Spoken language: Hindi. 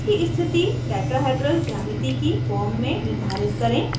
bonds की स्थिति tetrahedral geometry की form में निर्धारित करें